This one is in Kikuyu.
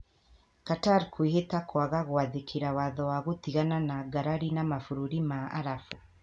Qatar kwĩhĩta kwaga gũathĩkira watho wa gũtigana na ngarari na mabũrũri ma Arabu.